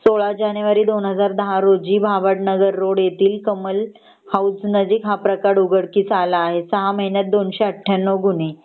16जानेवारी 2010 रोजी भाभद नगर रोड येतील कमल हाऊस येथील हा प्रकार उघडकीस आला आहे.सहा महिन्यात 298 गुन्हे.